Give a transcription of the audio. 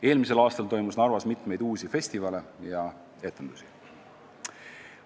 Eelmisel aastal toimus Narvas mitu uut festivali ja anti rohkelt etendusi.